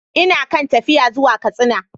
Ina kan tafiya zuwa Katsina.